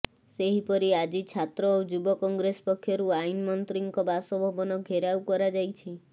ସେହିପରି ଆଜି ଛାତ୍ର ଓ ଯୁବ କଂଗ୍ରେସ ପକ୍ଷରୁ ଆଇନ ମନ୍ତ୍ରୀଙ୍କ ବାସଭବନ ଘେରାଉ କରାଯାଇଛି